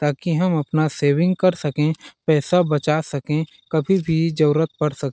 ताकि हम अपना सेविंग कर सके पैसा बचा सके कभी भी जरुरत पड़ सक--